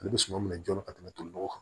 Ale bɛ suman minɛ joona ka tɛmɛ toli kɔkan